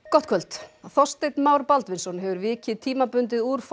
gott kvöld Þorsteinn Már Baldvinsson hefur vikið tímabundið úr